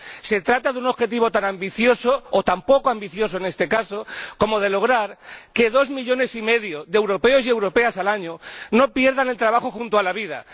Se trata de un objetivo tan ambicioso, o tan poco ambicioso en este caso, como lograr que dos millones y medio de europeos y europeas no pierdan cada año el trabajo junto a la vida.